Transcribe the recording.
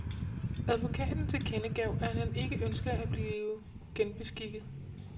Advokaten tilkendegav, at han ikke ønskede at blive genbeskikket.